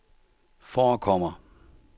forekommer